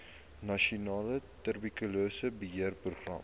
nasionale tuberkulose beheerprogram